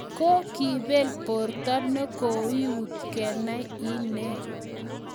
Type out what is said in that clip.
kokibel borto ne kouit kenai inne